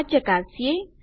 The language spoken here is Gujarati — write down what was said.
આ ચકાસીએ